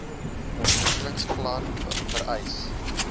ontwikkelings plan vereis